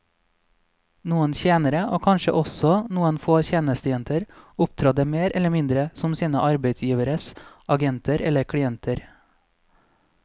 Noen tjenere, og kanskje også noen få tjenestejenter, opptrådte mer eller mindre som sine arbeidsgiveres agenter eller klienter.